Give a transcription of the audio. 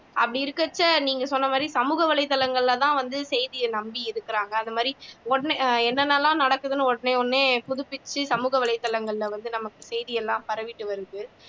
அப்படி இருக்கிறச்ச நீங்க சொன்னமாதிரி சமூக வலைதளங்கள்ல தான் வந்து செய்திய நம்பி இருக்கிறாங்க அந்த மாதிரி உட என்னென்ன எல்லாம் நடக்குதுன்னுட்டு உடனே உடனே புதுப்பிச்சு சமூக வலைதளங்கள்ல வந்து நமக்கு செய்தி எல்லாம் பரவிட்டு வருது